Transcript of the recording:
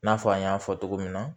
I n'a fɔ an y'a fɔ cogo min na